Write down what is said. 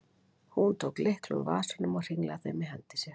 Hún tók lykla úr vasanum og hringlaði þeim í hendi sér.